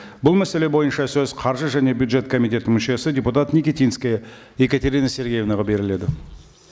бұл мәселе бойынша сөз қаржы және бюджет комитеті мүшесі депутат никитинская екатерина сергеевнаға беріледі